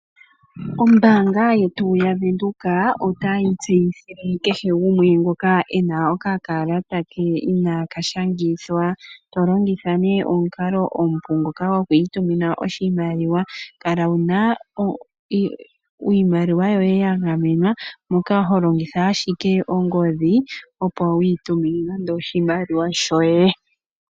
Ombaanga yetu ya Windhoek, ota yi tseyithile kehe gumwe ngoka ena okakalata ke inaaka shangithwa, tolongitha nee omukalo omupu ngoka gokwiitumina oshimaliwa, kala wuna iimaliwa yoye ya gamenwa moka ho longitha ashike ongodhi opo wiitumine nande oshimaliwa shoye.